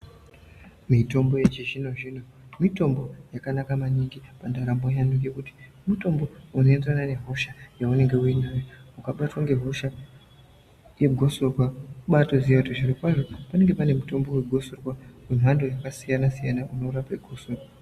Mitombo yechizvino zvino mitombo yakanaka maningi pandaramo yevantu ngekuti mitombo inoenderana nehosha yaunengebuinayo ukabatwa mehosha yegotsorwa wotozozwa zviro kwazvo panenge pane mishonga yemhando yepamusoro soro inorapa gotsorwa.